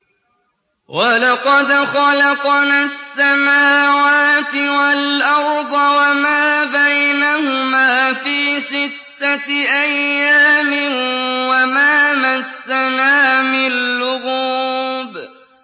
وَلَقَدْ خَلَقْنَا السَّمَاوَاتِ وَالْأَرْضَ وَمَا بَيْنَهُمَا فِي سِتَّةِ أَيَّامٍ وَمَا مَسَّنَا مِن لُّغُوبٍ